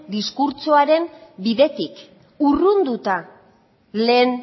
diskurtsoaren bidetik urrunduta lehen